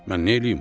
Mən neyləyim?